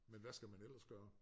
Men hvad skal man ellers gøre?